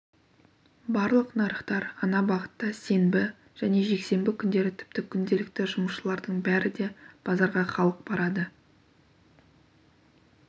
барлық нарықтар ана бағытта сенбі және жексенбі күндері тіпті күнделікті жұмысшылардың бәрі де базарға халық барады